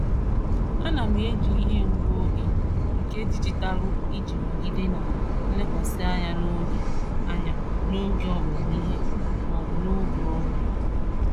Ana m eji ihe ngụ oge nke dijitalụ iji nọgide na nlekwasị anya n'oge anya n'oge ọmụmụ ihe maọbụ n'oge ọrụ.